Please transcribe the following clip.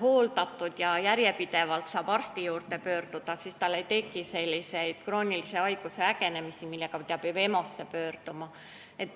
hooldatud ja saab järjepidevalt arsti juurde pöörduda, siis tal ei teki selliseid kroonilise haiguse ägenemisi, millega ta peab minema EMO-sse.